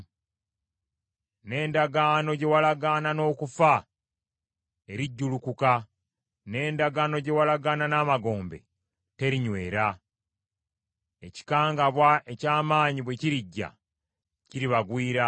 N’endagaano gye walagaana n’okufa erijjulukuka, n’endagaano gye walagaana n’amagombe terinywera. Ekikangabwa eky’amaanyi bwe kirijja, kiribagwira.